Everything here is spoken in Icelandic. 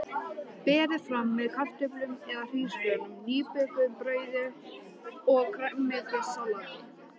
Berið fram með kartöflum eða hrísgrjónum, nýbökuðu brauði og grænmetissalati.